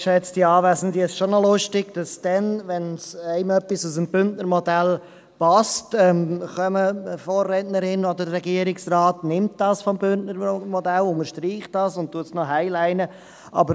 Es ist lustig, wenn etwas aus dem Bündner Modell passt, kommen meine Vorrednerin oder der Regierungsrat, übernehmen dies aus dem Bündner Modell, unterstreichen dies und «highliten» es noch.